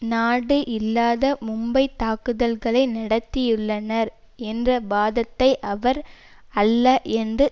நாடு இல்லாத மும்பைத் தாக்குதல்களை நடத்தியுள்ளனர் என்ற வாதத்தை அவர் அல்ல என்று